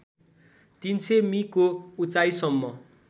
३०० मि को उचाइसम्म